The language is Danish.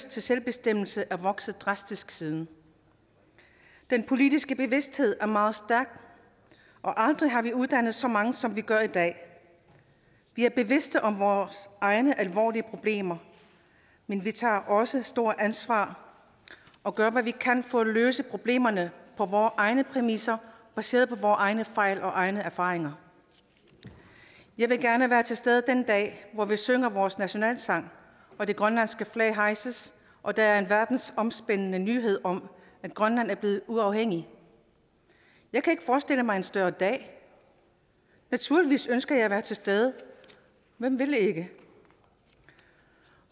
til selvbestemmelse er vokset drastisk siden den politiske bevidsthed er meget stærk og aldrig har vi uddannet så mange som vi gør i dag vi er bevidste om vores egne alvorlige problemer men vi tager også et stort ansvar og gør hvad vi kan for at løse problemerne på vore egne præmisser og baseret på vore egne fejl og egne erfaringer jeg vil gerne være til stede den dag hvor vi synger vores nationalsang og det grønlandske flag hejses og der er en verdensomspændende nyhed om at grønland er blevet uafhængigt jeg kan ikke forestille mig en større dag og naturligvis ønsker jeg at være til stede hvem ville ikke det